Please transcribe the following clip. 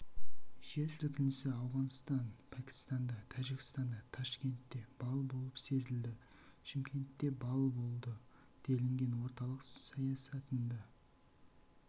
жер сілкінісі ауғанстан пәкістанда тәжікстанда ташкентте балл болып сезілді шымкентте балл болды делінген орталық сайәтында